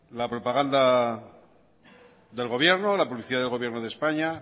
la propaganda del gobierno la publicidad del gobierno de españa